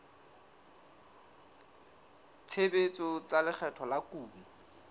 tshebetso tsa lekgetho la kuno